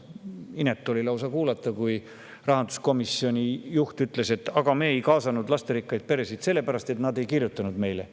See oli lausa inetu, et rahanduskomisjoni juht ütles, et me ei kaasanud lasterikkaid peresid sellepärast, et nad ei kirjutanud meile.